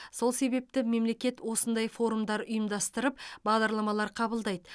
сол себепті мемлекет осындай форумдар ұйымдастырып бағдарламалар қабылдайды